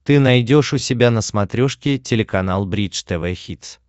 ты найдешь у себя на смотрешке телеканал бридж тв хитс